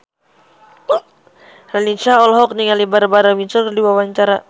Raline Shah olohok ningali Barbara Windsor keur diwawancara